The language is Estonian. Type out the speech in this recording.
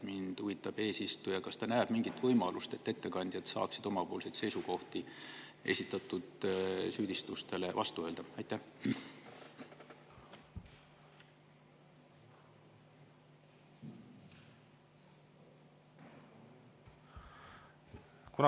Mind huvitab, kas eesistuja näeb mingit võimalust, et ettekandjad saaksid esitatud süüdistustele vastuseks oma seisukohad välja öelda.